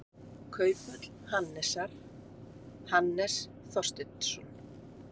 Kauphöll Hannesar, Hannes Þorsteinsson.